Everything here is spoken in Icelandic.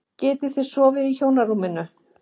Þið getið sofið í hjónarúminu.